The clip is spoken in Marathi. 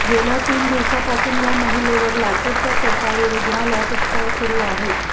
गेल्या तीन दिवसांपासून या महिलेवर लातूरच्या सरकारी रुग्णालयात उपचार सुरू आहेत